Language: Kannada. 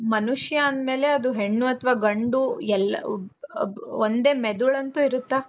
ಮನುಷ್ಯ ಅಂದಮೇಲೆ ಅದು ಹೆಣ್ಣು ಅತವ ಗಂಡು, ಒಂದೇ ಮೆದುಳು ಅಂತು ಇರುತ್ತಾ